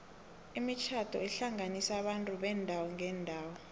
imitjhado ihlanganisa abantu beendawo ngeendawo